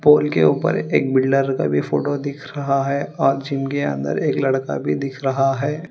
पोल के ऊपर एक बिल्डर का भी फोटो दिख रहा है और जिम के अंदर एक लड़का भी दिख रहा है।